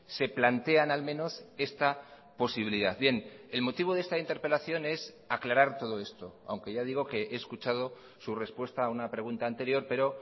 se plantean al menos esta posibilidad bien el motivo de esta interpelación es aclarar todo esto aunque ya digo que he escuchado su respuesta a una pregunta anterior pero